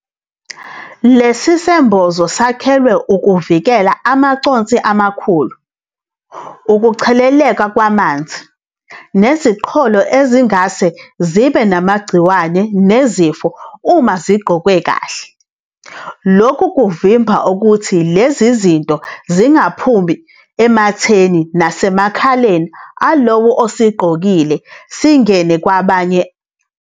Lesi sembozo sakhelwe ukuvikela amaconsi amakhulu, ukucheleleka kwamanzi, neziqholo ezingase zibe namagciwane nezifo uma igqokwe kahle, lokhu kuvimba ukuthi lezi zinto zingaphumi ematheni nasemakhaleni alowo osigqokile zingene kwabanye.